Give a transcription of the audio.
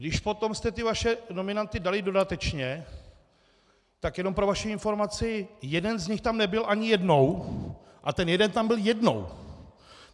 Když potom jste ty vaše nominanty dali dodatečně, tak jenom pro vaši informaci, jeden z nich tam nebyl ani jednou a ten jeden tam byl jednou.